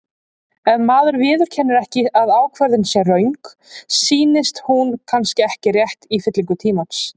Ef maður viðurkennir ekki að ákvörðun sé röng, sýnist hún kannski rétt í fyllingu tímans.